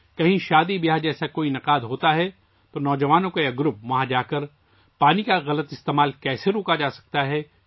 کہیں شادی جیسی تقریب ہوتی ہے تو نوجوانوں کا یہ گروپ وہاں جا کر معلومات دیتا ہے کہ پانی کے غلط استعمال کو کیسے روکا جا سکتا ہے